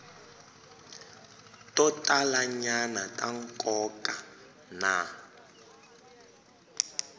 to talanyana ta nkoka na